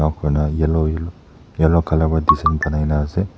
kona yellow colour para design boanai kina ase.